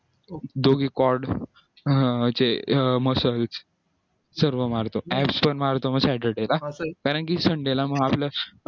दोघी muscle सर्व मारतो apps पण मारतो मग saturday ला कारण की मग sunday ला मग आपलं